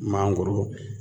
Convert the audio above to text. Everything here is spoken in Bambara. Mangoro